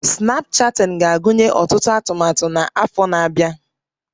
Snapchatting ga-agụnye ọtụtụ atụmatụ na Yeats na-abịa